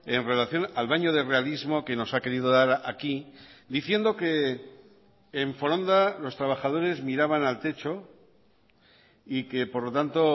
en relación al baño de realismo que nos ha querido dar aquí diciendo que en foronda los trabajadores miraban al techo y que por lo tanto